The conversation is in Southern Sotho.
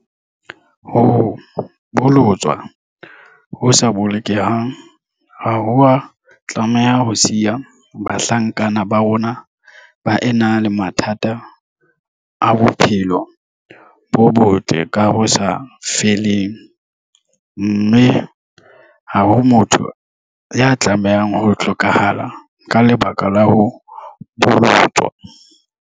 Ho bolotswa ho sa bolokehang ha ho a tlameha ho siya bahlankana ba rona ba ena le mathata a bophelo bo botle ka ho sa feleng, mme ha ho motho ya tlameha ho hlokahala ka lebaka la ho bolotswa.